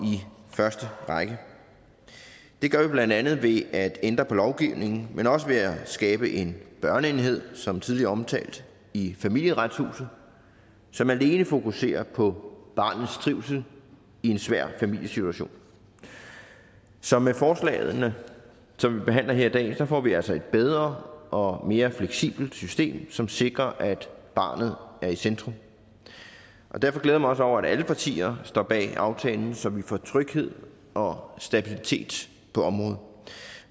i første række det gør vi blandt andet ved at ændre på lovgivningen men også ved at skabe en børneenhed som tidligere omtalt i familieretshuset som alene fokuserer på barnets trivsel i en svær familiesituation så med forslagene som vi behandler her i dag får vi altså et bedre og mere fleksibelt system som sikrer at barnet er i centrum derfor glæder jeg mig også over at alle partier står bag aftalen så vi får tryghed og stabilitet på området